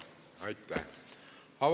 Aitäh!